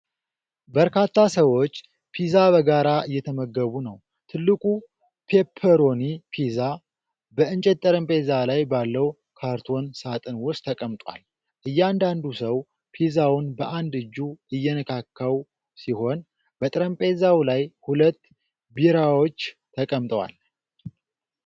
በርካታ ሰዎች ፒዛ በጋራ እየተመገቡ ነው። ትልቁ ፔፐሮኒ ፒዛ በእንጨት ጠረጴዛ ላይ ባለው ካርቶን ሳጥን ውስጥ ተቀምጧል። እያንዳንዱ ሰው ፒዛውን በአንድ እጁ እየነካካው ሲሆን፣ በጠረጴዛው ላይ ሁለት ቢራዎች ተቀምጠዋል።